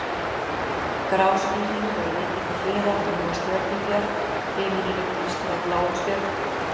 Grá skýin höfðu vikið til hliðar og nú var stjörnubjart, himinninn upplýstur af bláum stjörnum.